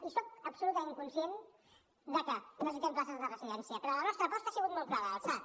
i soc absolutament conscient de que necessitem places de residència però la nostra aposta ha sigut molt clara el sad